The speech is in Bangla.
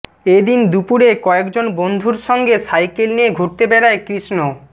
এদিন দুপুরে কয়েকজন বন্ধুর সঙ্গে সাইকেল নিয়ে ঘুরতে বেড়ায় কৃষ্ণ